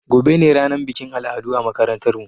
Gobe ne ranar bikin al'adu a makarantar mu